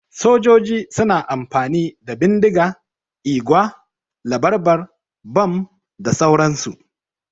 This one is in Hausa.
Sojoji suna amfani da bindiga, igwa, labarbar, bom da sauran su